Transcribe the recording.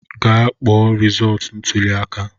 Gaa kpọọ resọọtu ntụli aka!